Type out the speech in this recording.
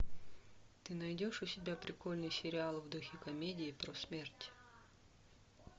ты найдешь у себя прикольный сериал в духе комедии про смерть